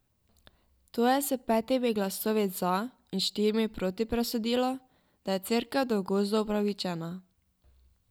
To je s petimi glasovi za in štirimi proti presodilo, da je Cerkev do gozdov upravičena.